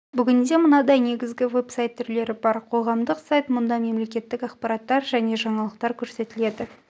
бүгінде мынадай негізгі веб-сайт түрлері бар қоғамдық сайт мұнда мемлекеттік ақпараттар және жаңалықтар көрсетіледі